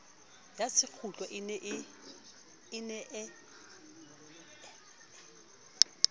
ya sekgutlo e ne e